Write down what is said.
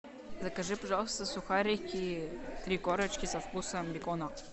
закажи пожалуйста сухарики три корочки со вкусом бекона